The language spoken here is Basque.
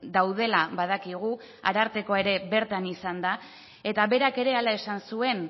daudela badakigu arartekoa ere bertan izan da eta berak ere hala esan zuen